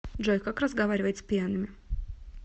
джой как разговаривать с пьяными